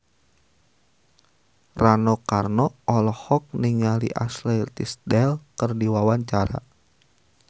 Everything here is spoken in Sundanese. Rano Karno olohok ningali Ashley Tisdale keur diwawancara